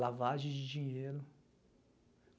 Lavagem de dinheiro.